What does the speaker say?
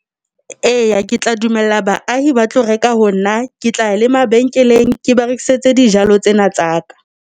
Eya, ke tla dumella baahi ba tlo reka ho nna, ke tla ya le mabenkeleng ke ba rekisetse dijalo tsena tsa ka.